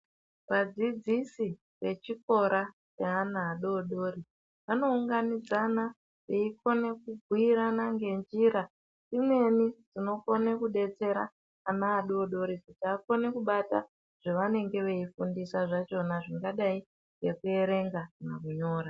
Vadzidzisi vechikora ne ana adodori , vanounganidzana veyikona kubuyirana ngenjira, imweni dzinokone kudetsera anadodori kuti vakone kubata zvavanenge veyifundiswa zvachona zvingadai nekuyerenga nekunyora.